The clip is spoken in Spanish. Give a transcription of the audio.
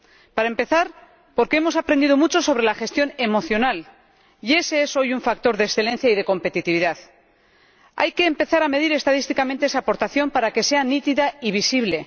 Para empezar, porque hemos aprendido mucho sobre la gestión emocional y ese es hoy un factor de excelencia y de competitividad. Hay que empezar a medir estadísticamente esa aportación para que sea nítida y visible.